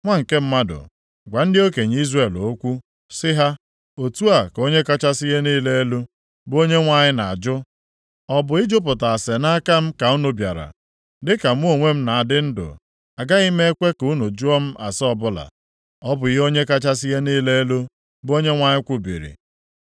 “Nwa nke mmadụ, gwa ndị okenye Izrel okwu sị ha, ‘Otu a ka Onye kachasị ihe niile elu, bụ Onyenwe anyị na-ajụ, Ọ bụ ịjụpụta ase nʼaka m ka unu bịara? Dịka mụ onwe m na-adị ndụ, agaghị m ekwe ka unu jụọ m ase ọbụla, ọ bụ ihe Onye kachasị ihe niile elu, bụ Onyenwe anyị kwubiri.’